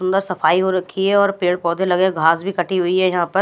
सुंदर सफाई हो रखी है और पेड़ पौधे लगे है घास भी कटी हुई है यहाँ पर।